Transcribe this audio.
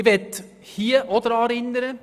Ich möchte daran erinnern: